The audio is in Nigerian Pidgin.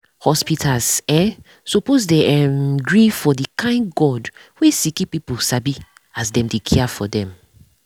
hospitas eh suppos dey erm gree for the kain god wey sicki pipu sabi as dem dey care for dem